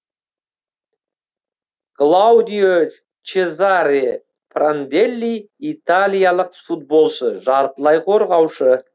клаудио чезаре пранделли италиялық футболшы жартылай қорғаушы